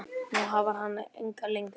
Nú háfar hann ekki lengur.